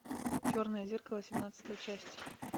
черное зеркало семнадцатая часть